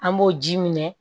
An b'o ji minɛ